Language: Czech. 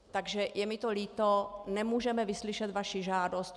Takže je mi to líto, nemůžeme vyslyšet vaši žádost.